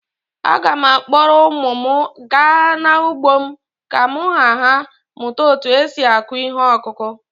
Aga m akpọrọ ụmụ m gaa n’ugbo m ka ha mụta otú e si akụ ihe ọkụkụ.